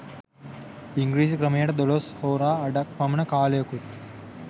ඉංගිරිසි ක්‍රමයට දොළොස් හෝරා අඩක් පමණ කාලයකුත්